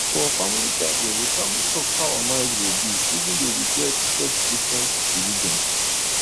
for family gathering we calmly talk how our marriage go be even though we get get different religion